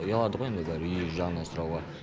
ұялады ғой енді бәрі үй жағынан сұрауға